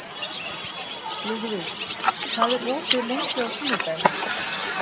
Lúðvíg, hvað er opið lengi á sunnudaginn?